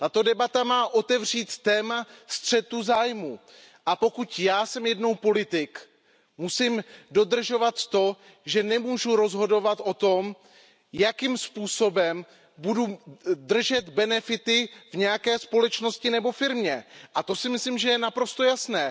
Tato debata má otevřít téma střetu zájmů, a pokud jsem jednou politik, musím dodržovat to, že nemůžu rozhodovat o tom, jakým způsobem budu držet benefity v nějaké společnosti nebo firmě, to si myslím, je naprosto jasné.